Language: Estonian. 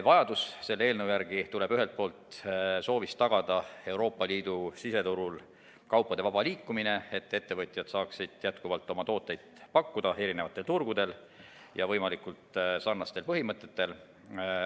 Vajadus selle eelnõu järele tuleneb ühelt poolt soovist tagada Euroopa Liidu siseturul kaupade vaba liikumine, et ettevõtjad saaksid jätkuvalt pakkuda oma tooteid erinevatel turgudel ja võimalikult sarnaste põhimõtete alusel.